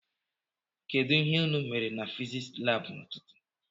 Kedụ ihe unu mere na fiziks lab n'ututu?